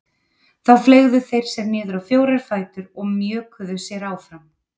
Þá fleygðu þeir sér niður á fjóra fætur og mjökuðu sér áfram.